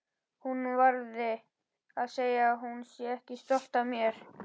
Hún verði að segja að hún sé stolt af mér.